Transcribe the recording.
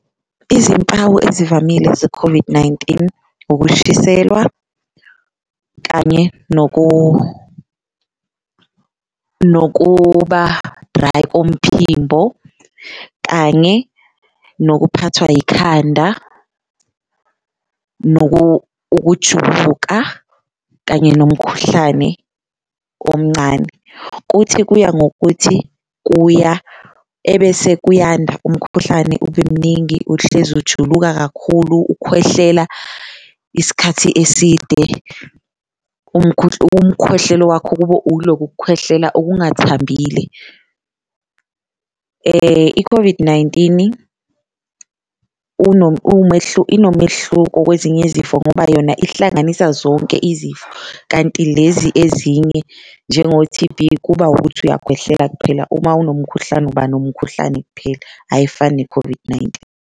Izimpawu ezivamile ze-COVID-19 ukushiselwa kanye nokuba-dry omphimbo, kanye nokuphathwa yikhanda, ukujuluka, kanye nomkhuhlane omncane, kuthi kuya ngokuthi kuya ebese kuyanda umkhuhlane ube mningi uhlezi ujuluka kakhulu, ukhwehlela isikhathi eside. Umkhwehlelo wakho kube uloku kukhwehlela okungathambile i-COVID-19 inomehluko kwezinye izifo ngoba yona ihlanganisa zonke izifo. Kanti lezi ezinye njengo-T_B kuba ukuthi uyakhwehlela kuphela, uma unomkhuhlane uba nomkhuhlane kuphela ayifani ne-COVID-19.